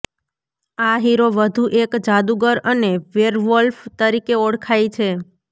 આ હીરો વધુ એક જાદુગર અને વેરવોલ્ફ તરીકે ઓળખાય છે